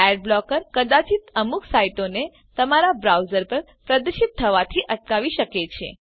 ad blocker કદાચિત અમુક સાઈટોને તમારા બ્રાઉઝર પર પ્રદર્શિત થવાથી અટકાવી શકે છે